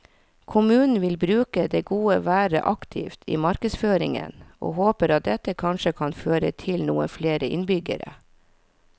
Kommunen vil bruke det gode været aktivt i markedsføringen, og håper at dette kanskje kan føre til noen flere innbyggere.